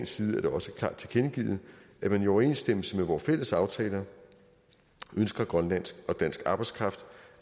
side er det også klart tilkendegivet at man i overensstemmelse med vores fælles aftaler ønsker grønlandsk og dansk arbejdskraft